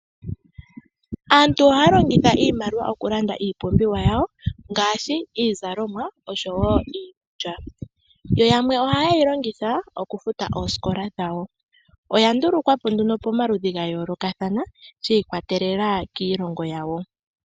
Aantu ohaya longitha iimaliwa okulanda iipumbiwa yawo ngaashi iizalomwa oshowo iikulya. Yo yamwe ohaye yi longitha okufuta oosikola dhawo. Oya ndulukwa po nduno pomaludhi ga yoolokathana shi ikwatelela kiilongo yawo.